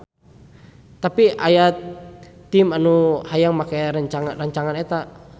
Tapi teu aya tim anu hayang make rancangan eta.